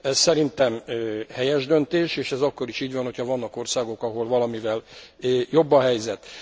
Szerintem helyes döntés, és ez akkor is így van, ha vannak országok, ahol valamivel jobb a helyzet.